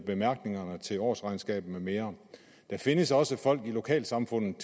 bemærkningerne til årsregnskabet med mere der findes også folk i lokalsamfundet